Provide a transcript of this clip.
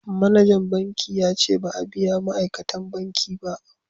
Manajan banki ya ce ba a biya ma'aikatan banki ba